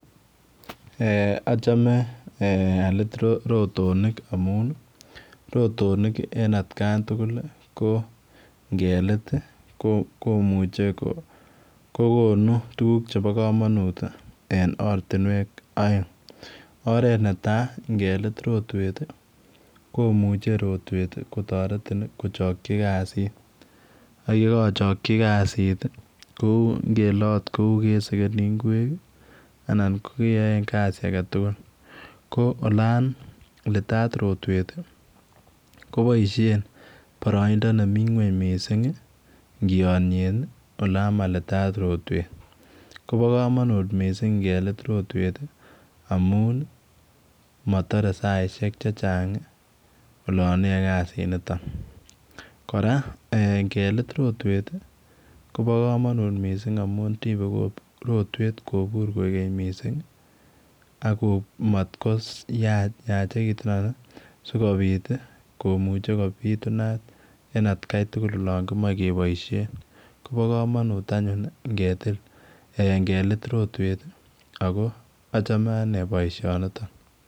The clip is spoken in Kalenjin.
Achome alit rotonik amun rotonik en atkan tugul kongelit komuche kokon tuguk chebo kamanut en oratinwek aeng oret netai ngelit rotwet komuche rutwet kotaretin keyai kasit ayekachaki kasit en kele okot Kou kesekini ingwek anan kogeyaen kasit aketugul ko olon litat rotwet kobaishen baraindo nemiten ngweny mising ngeyanen olon malitat rotwet Koba kamanut mising ngelit rotwet amun matare saisiek chechang olon iyae kasit niton koraa ngelit rotwet Koba kamanut mising amun amun rotwet kobur koigeny mising atmakoyachekitun sikobit komuche kobitunat en atkai tugul en olon kimache akomae kebaishen akoba kamanut anyun ngetil en gelit rotwet akochame baishet niton